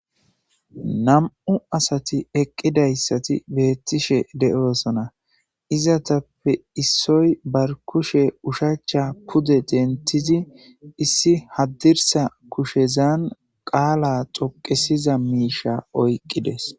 nam'u asati eqqidayssati beettishe de'oosona izatappe issoy barkushe ushacha pude dentizi issi haddirsa kushezan qaala xoqesiza miisha oyqqides